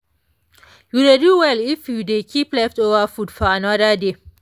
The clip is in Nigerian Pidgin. you dey do well if you dey keep leftover food for another day.